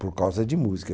por causa de música.